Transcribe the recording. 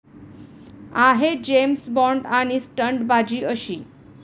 आहे जेम्स बॉन्ड...आणि स्टंटबाजी अशी?